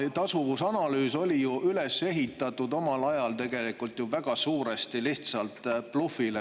Tasuvusanalüüs oli ju omal ajal üles ehitatud väga suuresti lihtsalt blufile.